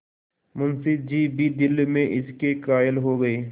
मुंशी जी भी दिल में इसके कायल हो गये